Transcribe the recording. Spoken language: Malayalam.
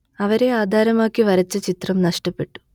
അവരെ ആധാരമാക്കി വരച്ച ചിത്രം നഷ്ടപ്പെട്ടു